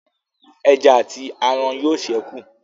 Ẹja àti aràn yóò sẹku